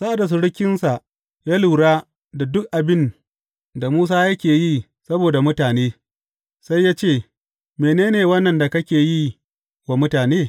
Sa’ad da surukinsa ya lura da duk abin da Musa yake yi saboda mutane, sai ya ce, Mene ne wannan da kake yi wa mutane?